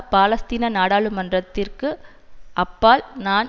பாலஸ்தீன நாடாளுமன்றத்திற்கு அப்பால் நான்